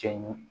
Cɛ ɲin